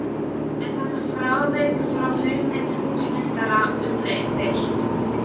Er þetta frávik frá hugmynd húsameistara umdeilt.